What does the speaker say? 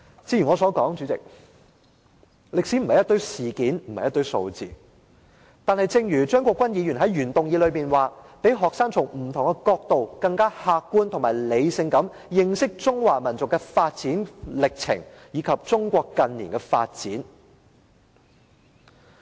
主席，我剛才提到，歷史並非一堆事件和數字，但張國鈞議員在原議案中提到，"讓學生從不同角度更客觀和理性地認識中華民族的發展歷程，以及中國近年的發展。